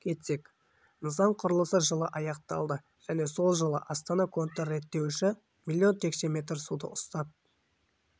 кетсек нысан құрылысы жылы аяқталды және сол жылы астана контрреттеуіші млн текше метр суды ұстап